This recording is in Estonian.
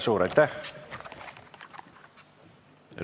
Suur aitäh!